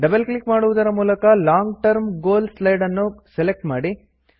double click ಮಾಡುವುದರ ಮೂಲಕ long term goal slide ನ್ನು ಸೆಲೆಕ್ಟ್ ಮಾಡಿ